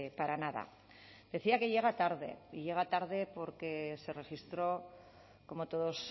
para nada decía que llega tarde y llega tarde porque se registró como todos